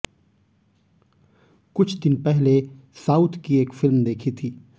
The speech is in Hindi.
कुछ दिन पहले साउथ की एक फ़िल्म देखी थी